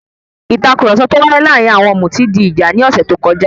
Ìtàkurọ̀sọ tó wáyé láàárín àwọn òmùtí di ìjà ní ọ̀sẹ̀ tó kọjá.